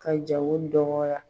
Ka jago dɔgɔya.